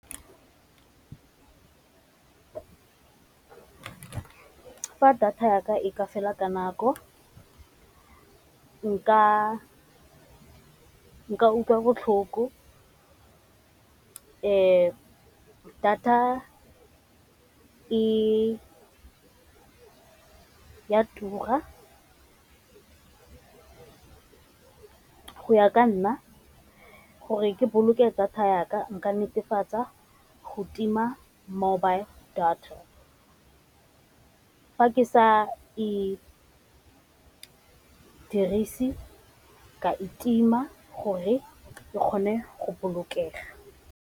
Fa data ya ka e ka fela ka nako nka utlwa botlhoko, data e tura go ya ka nna gore ke boloke data ya ka nka netefatsa go tima mobile data fa ke sa e dirise ka e tima gore e kgone go bolokega.